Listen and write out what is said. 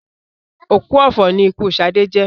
Òkú ọ̀fọ̀ ni ikú Sadé jẹ́